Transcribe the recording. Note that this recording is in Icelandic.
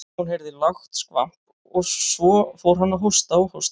Hún heyrði lágt skvamp og svo fór hann að hósta og hósta.